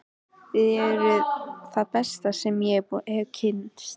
Þið eruð það besta sem ég hef kynnst.